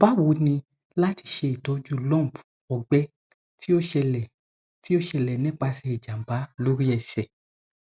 bawo ni lati ṣe itọju lump ọgbẹ ti o ṣẹlẹ ti o ṣẹlẹ nipasẹ ijamba lori ẹsẹ